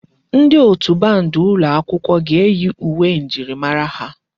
Ndi otù band ụlọ akwụkwọ ga-eyi uwe njirimara ha.